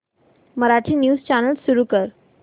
Marathi news channel सुरू कर